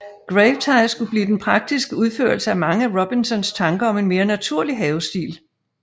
Gravetye skulle blive den praktiske udførelse af mange af Robinsons tanker om en mere naturlig havestil